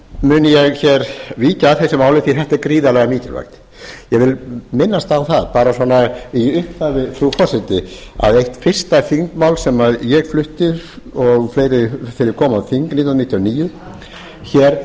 mun ég hér víkja að þessu máli því að þetta er gríðarlega mikilvægt ég vil minnast á það bara svona í upphafi frú forseti að eitt fyrsta þingmál sem ég flutti og fleiri þegar ég kom á þing nítján hundruð níutíu og níu